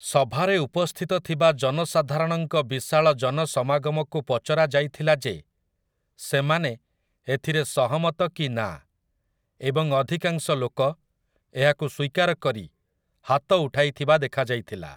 ସଭାରେ ଉପସ୍ଥିତ ଥିବା ଜନସାଧାରଣଙ୍କ ବିଶାଳ ଜନସମାଗମକୁ ପଚରାଯାଇଥିଲା ଯେ ସେମାନେ ଏଥିରେ ସହମତ କି ନା ଏବଂ ଅଧିକାଂଶ ଲୋକ ଏହାକୁ ସ୍ୱୀକାର କରି ହାତଉଠାଇଥିବା ଦେଖାଯାଇଥିଲା ।